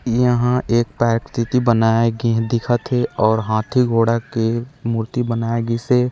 यहाँ एक प्राकृति बनाये गए हे दिखत हे आऊ हाथी घोड़ा के मूर्ति बनाया गिश हे।